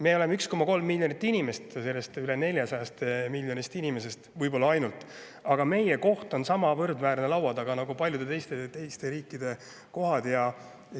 Me oleme ainult 1,3 miljonit inimest üle 400 miljoni inimese, aga meie koht laua taga on samaväärne paljude teiste riikide kohtadega.